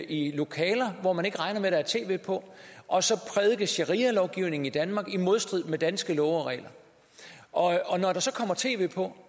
i lokaler hvor man ikke regner med der er tv på og prædike sharialovgivning i danmark i modstrid med danske love og regler og når der så kommer tv på